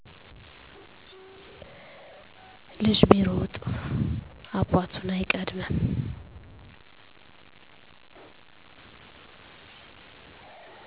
ልጅ ቢሮጥ አባቱን አይቀድምም